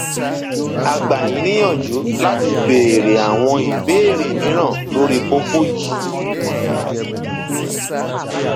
a gbà yín níyanjú láti béèrè àwọn ìbéèrè mìíràn lórí kókó yìí